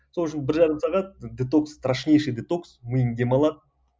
сол үшін бір жарым сағат детокс страшнейший детокс миың демалады